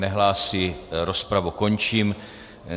Nehlásí, rozpravu končím.